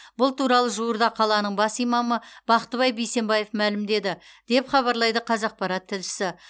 бұл туралы жуырда қаланың бас имамы бақтыбай бейсенбаев мәлімдеді деп хабарлайды қазақпарат тілшісі